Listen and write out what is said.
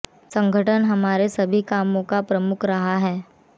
संगठन हमारे सभी कामों का प्रमुख अंग रहा है